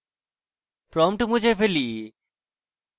prompt মুছে ফেলি